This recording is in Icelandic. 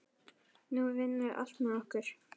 Nú vinnur allt með okkur.